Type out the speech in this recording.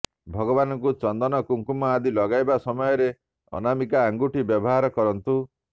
ଭଗବାନଙ୍କୁ ଚନ୍ଦନ କୁଙ୍କୁମ ଆଦି ଲଗାଇବା ସମୟରେ ଅନାମିକା ଆଙ୍ଗୁଠି ବ୍ୟବହାର କରନ୍ତୁ